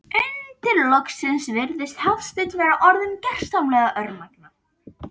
Undir lokin virðist Hafsteinn vera orðinn gersamlega örmagna.